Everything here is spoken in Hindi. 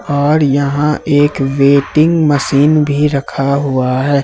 और यहां एक वेटिंग मशीन भी रखा हुआ है।